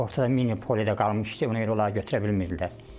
Ortada mini poledə qalmışdı, ona görə onlar gətirə bilmirdilər.